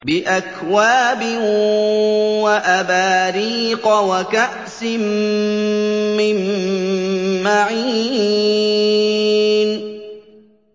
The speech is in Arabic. بِأَكْوَابٍ وَأَبَارِيقَ وَكَأْسٍ مِّن مَّعِينٍ